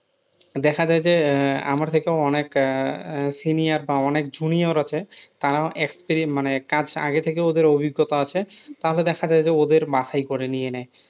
দেখা যায় আমার থেকেও অনেক senior বা অনেক junior আছে তারাও আগে থেকে ওদের অভিজ্ঞতা আছে তাহলে দেখা যায় যে ওদের বাছাই করে নিয়ে নেই,